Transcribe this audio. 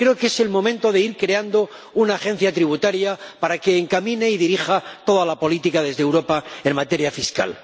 Creo que es el momento de ir creando una agencia tributaria para que encamine y dirija toda la política desde Europa en materia fiscal.